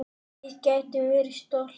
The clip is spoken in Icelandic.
Við getum verið stolt.